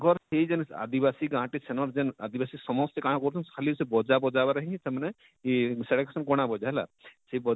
ତାଙ୍କର ସେ ଜେନ ଆଦିବାସୀ ଗାଁ ଟେ ସେନର ଜେନ ଆଦିବାସୀ ସମସ୍ତେ କାଣା କରସନ ଖାଲି ସେ ବଜା ବଜା ବଜାବାର ରେ ହିଁ ସେମାନେ ଇ ସେଟା ସେନ ଗଣା ବଜା ହେଲା,